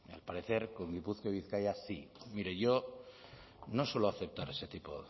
al parecer con gipuzkoa y bizkaia sí mire yo no suelo aceptar ese tipo